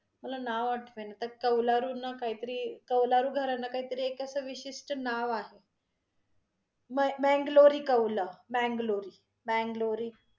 मला नाव आठवेना, त्या कौलारुंना काहीतरी, कौलारू घरांना काहीतरी एक अस विशिष्ट नाव आहे ब्यांग् ब्यांगलोरी कौलं ब्यांग्लोरी, ब्यंगलोरी.